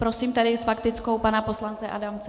Prosím tedy s faktickou pana poslance Adamce.